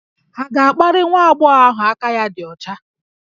Hà ga-akparị nwa agbọghọ ahụ aka ya dị ọcha?